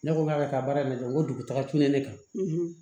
Ne ko k'a bɛ ka taa baara in kɛ ko dugutaga cun ne kan